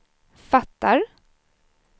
fattar